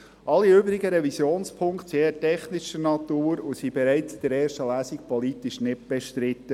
Alle übrigen Revisionspunkte sind eher technischer Natur und waren bereits in der ersten Lesung politisch nicht bestritten.